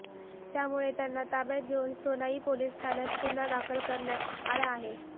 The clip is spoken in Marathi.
त्यामुळे त्यांना ताब्यात घेऊन सोनई पोलीस ठाण्यात गुन्हा दाखल करण्यात आला आहे